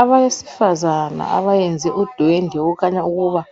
Abesifazana abayenze udwende okukhanya ukuba